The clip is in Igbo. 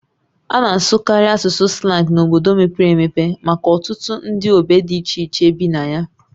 A na-asụkarị asụsụ slang n'obodo mepere emepe maka ọtụtụ ndị ogbe dị iche iche bi na ya